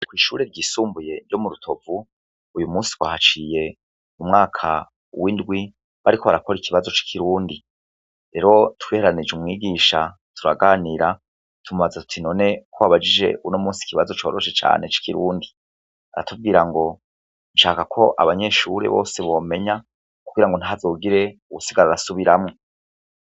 Kw'ishure ryisumbuye ryo mu Rutovu, uyu munsi twahaciye m'umwaka w'indwi bariko barakora ikibazo c'ikirundi. Rero twihereranije umwigisha turaganira, tumubaza tuti none ko wabajije uno munsi ikibazo coroshe cane c'ikirundi? Aratubwira ngo nshaka ko abanyeshure bose bomenya, kugira ngo ntihazogire uwusigara arasubiramwo.